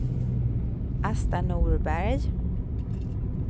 Asta Norberg